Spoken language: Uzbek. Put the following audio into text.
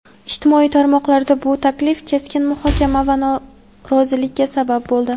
Ijtimoiy tarmoqlarda bu taklif keskin muhokama va norozilikka sabab bo‘ldi.